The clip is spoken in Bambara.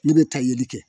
Ne bɛ taa yeli kɛ